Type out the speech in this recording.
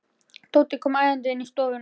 Tóti kom æðandi inn í stofuna.